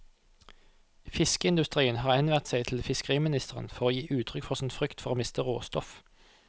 Fiskeindustrien har henvendt seg til fiskeriministeren for å gi uttrykk for sin frykt for å miste råstoff.